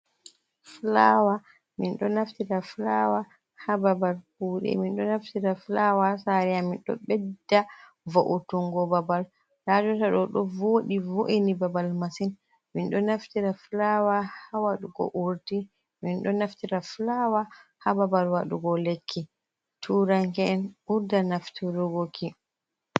Fulawa min ɗo naftira fulawa ha babal kuɗe, min ɗo naftira fulawa ha sare amin ɗo ɓeɗɗa vo’utungo babal, nda jotta ɗo, ɗo voɗi vo’ini babal massin, min ɗo naftira fulawa ha waɗugo urɗi min ɗo naftira fulawa ha babal waɗugo lekki, turanke'en ɓurda naftirgo ki.